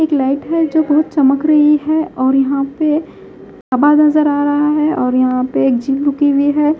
एक लाइट है जो बहुत चमक रही है और यहां पे नजर आ रहा है और यहां पे एक झील रुकी हुई है।